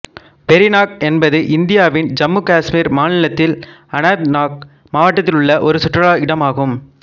வெரிநாக் என்பது இந்தியாவின் ஜம்முகாஷ்மீர் மாநிலத்தில் அனந்த்நாக் மாவட்டத்திலுள்ள ஒரு சுற்றுலா இடமாகும்